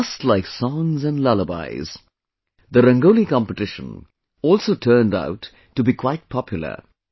Just like songs and lullabies, the Rangoli Competition also turned out to be quite popular